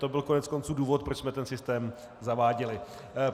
To byl konec konců důvod, proč jsme ten systém zaváděli.